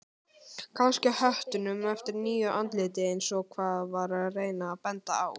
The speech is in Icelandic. Kannski á höttunum eftir nýju andliti eins og hann var að reyna að benda á.